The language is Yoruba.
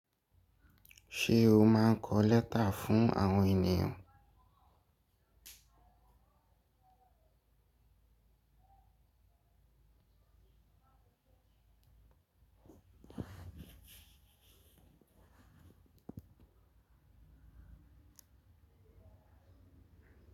Ṣé o máa ń kọ lẹ́tà fún àwọn ènìyàn?